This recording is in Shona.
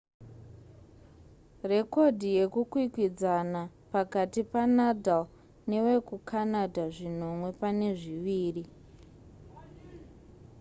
rekodhi yekukwikwidzana pakati panadal newekucanada zvinonwe pane zviviri